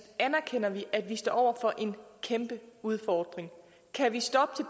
anerkender vi at vi står over for en kæmpe udfordring kan vi stoppe